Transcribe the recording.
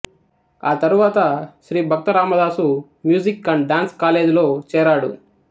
ఆ తరువాత Shri Bhakta Ramadasu music and dance కాలేజీలో చేరాడు